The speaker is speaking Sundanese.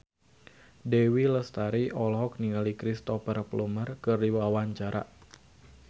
Dewi Lestari olohok ningali Cristhoper Plumer keur diwawancara